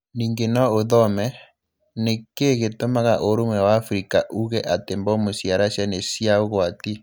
Ningĩ no ũthome: Nĩ kĩĩ gĩtũmaga Ũrũmwe wa Afrika uuge atĩ mbomu cia Russia nĩ cia ũgwati?